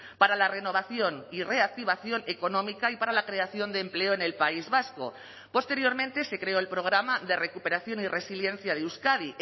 para la renovación y reactivación económica y para la creación de empleo en el país vasco posteriormente se creó el programa de recuperación y resiliencia de euskadi